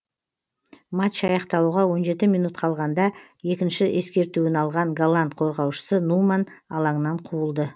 матч аяқталуға он жеті минут қалғанда екінші ескертуін алған голланд қорғаушысы нуман алаңнан қуылды